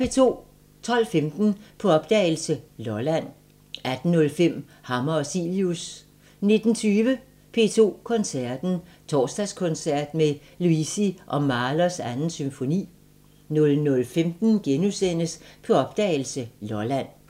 12:15: På opdagelse – Lolland 18:05: Hammer og Cilius 19:20: P2 Koncerten – Torsdagskoncert med Luisi og Mahlers 2. symfoni 00:15: På opdagelse – Lolland *